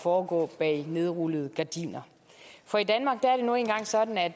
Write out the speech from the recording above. foregå bag nedrullede gardiner for i danmark er det nu engang sådan at